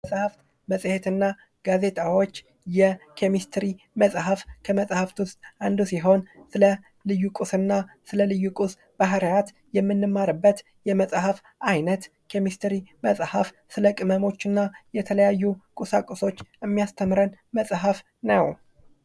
መጽሐፍት መጽሄትና ጋዜጣዎች የኬሚስትርይ መጽሐፍ ከመጽሐፍት ውስጥ ሲሆን ስለልዩ ቁስ እና ልዩ ቁስ ባህሪያት የምንማርበት የመጽሃፍት አይነት ኬሚስትርይ መጽሐፍ ስለ ቅመሞችና የተለያዩ ቁሳቁሶች የሚያስተምረን መጽሐፍ ነው ::